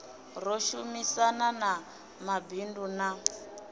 ro shumisana na mabindu na